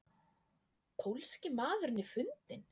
Pólski maðurinn er fundinn?